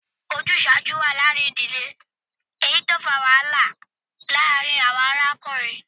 Ojuṣaju wa laarin idile, eyiti o fa wahala laarin awọn arakunrin